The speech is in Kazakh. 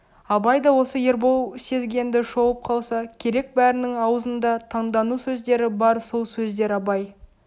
абай да осы ербол сезгенді шолып қалса керек бәрінің аузында таңдану сөздері бар сол сөздер абай